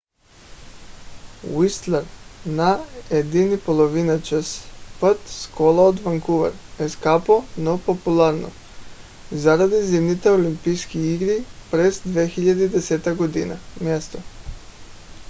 уистлър на 1,5 часа път с кола от ванкувър е скъпо но популярно заради зимните олимпийски игри през 2010 г. място